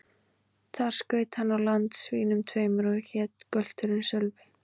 Þar skaut hann á land svínum tveimur, og hét gölturinn Sölvi.